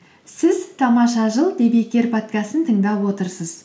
сіз тамаша жыл подкастын тыңдап отырсыз